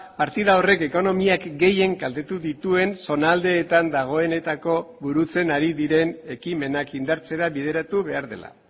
partida horrek ekonomiak gehien kaltetu dituen zonaldeetan dagoenetako burutzen ari diren ekimenak indartzera bideratu behar dela